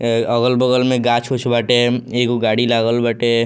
ए अगल-बगल में गाछ-उछ बाटे एगो गाड़ी लागल बाटे।